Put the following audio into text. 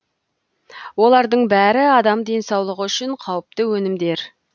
олардың бәрі адам денсаулығы үшін қауіпті өнімдер